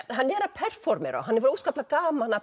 hann er að performera og hann hefur óskaplega gaman af